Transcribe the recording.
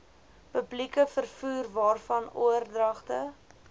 publieke vervoerwaarvan oordragte